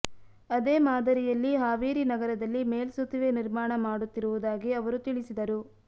ಅದೇ ಮಾದರಿಯಲ್ಲಿ ಹಾವೇರಿ ನಗರದಲ್ಲಿ ಮೇಲ್ಸೇತುವೆ ನಿರ್ಮಾಣ ಮಾಡುತ್ತಿರು ವುದಾಗಿ ಅವರು ತಿಳಿಸಿದರು